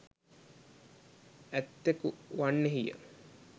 ඇත්තකු වන්නෙහි ය.